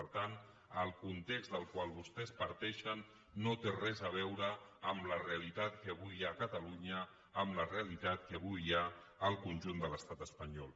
per tant el context del qual vostès parteixen no té res a veure amb la realitat que avui hi ha a catalunya amb la realitat que avui hi ha al conjunt de l’estat espanyol